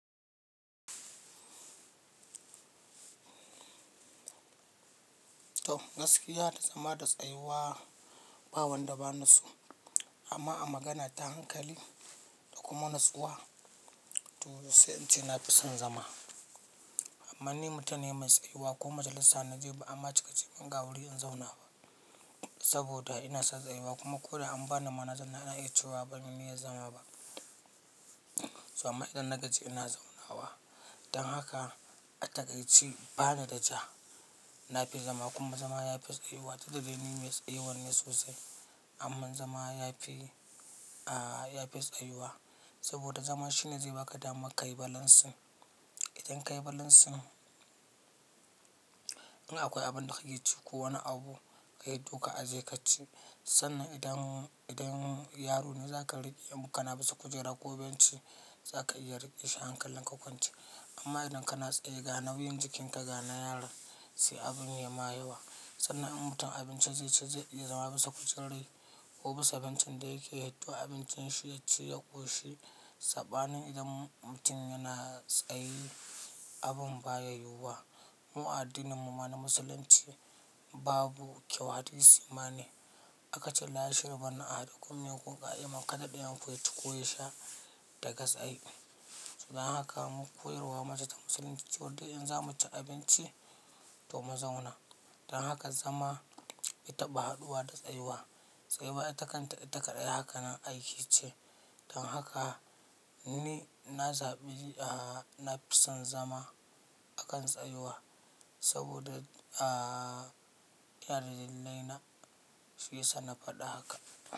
To, gaskiya da zama da tsayuwa, ba wanda ba naso, amma a magana ta hankali da kuma natsuwa, to sai in ce na fi son zama. Amma ni mutan ne mai tsayuwa ko majalisa na je ba'a ma cika cemin gawuri in zauna ba saboda ina son tsayuwa, kuma ko da an bani ma na zanna za'a iya cewa banyi niyyan zama ba. So amma idan na gaji ina zauna wa. Dan haka, a taƙaice bani da ja na fi zama kuma zama yafi tsayuwa. Duk da daini mai tsayuwanne sosai, amma zama yafi, a yafi tsayuwa, saboda zama shine zai baka dama ka yi balancing. Idan ka yi balancing, in akwai abun da ka ke ci ko wani abu, ka yar- to ka'aje ka ci. Sannan idan, idan yaro ne zaka rike, in kana bisa kujera ko benci, zaka iya rike shi a hankalin ka kwance. Amma idan kana tsaye ga nauyin jikinka, ga na yaron, sai abun ya ma yawa. Sannan in mutum abinci zai ci zai iya zama bisa kujeray, ko bisa bencin da yake ya hitto abincin shi ya ci ya ƙoshi Saɓanin idan mutum yana tsaye, abin baya yiwuwa. Mu a addinin mu ma na Musulunci babu kyau Hadisi mane, aka ce: "La yashri banna ahadukum minkum qa'iman, ka da ɗayan ku yaci ko ya sha daga tsaye." Dan haka mu koyarwa ma ce ta Musulunci cewar duk in zamu ci abinci to mu zauna. Dan haka zama, be taɓa haduwa da tsayuwa. Tsayuwa ita kanta ita ƙadai hakan nan aiki ce. Dan haka, ni na zaɓi, a na fi son zama akan tsayuwa, saboda a, dalilai na, shi yasa na faɗa haka.